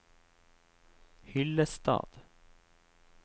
Hyllestad